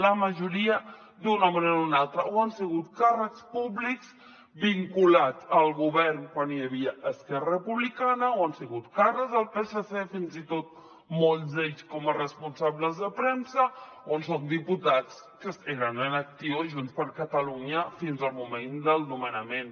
la majoria d’una manera o una altra o han sigut càrrecs públics vinculats al govern quan hi havia esquerra republicana o han sigut càrrecs del psc fins i tot molts d’ells com a responsables de premsa o són diputats que eren en actiu a junts per catalunya fins al moment del nomenament